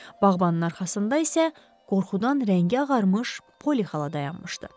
Bağbanın arxasında isə qorxudan rəngi ağarmış Poli xala dayanmışdı.